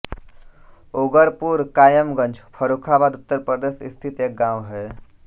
ऊगरपुर कायमगंज फर्रुखाबाद उत्तर प्रदेश स्थित एक गाँव है